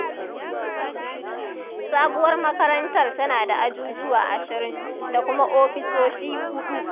Sabuwar makarantar tana da ajujuwa 20, da kuma ofisoshi 4.